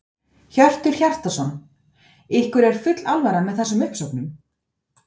Hjörtur Hjartarson: Ykkur er full alvara með þessum uppsögnum?